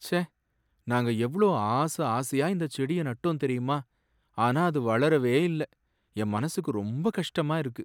ச்சே! நாங்க எவ்ளோ ஆசை ஆசையா இந்தச் செடிய நட்டோம் தெரியுமா, ஆனா அது வளரவே இல்ல, என் மனசுக்கு ரொம்ப கஷ்டமா இருக்கு.